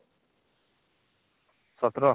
୧୭